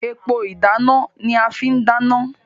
Epo ìdáná ni a fi n dana.